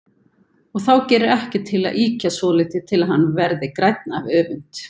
Og þá gerir ekkert til að ýkja svolítið til að hann verði grænn af öfund.